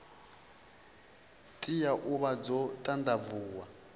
tea u vha dzo ṱanḓavhuwa